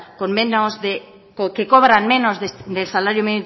que cobran menos del salario